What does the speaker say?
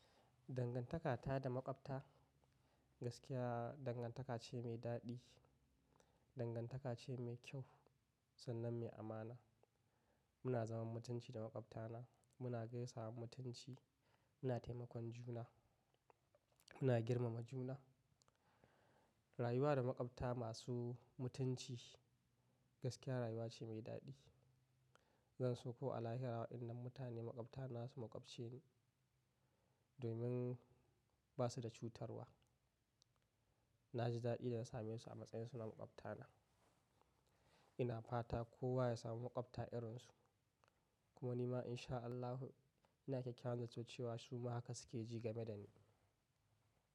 Dangantaka ta da maƙwabta gaskiya dangantaka ce mai daɗi, dangantaka ce mai kyau sannan mai amana. Muna zama mutunci da maƙwabta na, muna gaisawa mutunci, muna taimakon juna, muna girmama juna. Rayuwa da maƙwabta masu mutunci gaskiya rayuwa ce mai daɗi. Gansu ko alheri hawa idan mutane maƙwabta na su maƙwabce domin ba su da cutarwa. Na ji daɗi da na same su a matsayin su na maƙwabta na. Ina fata kowa ya samu maƙwabta irin su. Kuma ni ma insha Allahi ina kyakkyawan zanton cewa su ma haka su ke ji game da ni.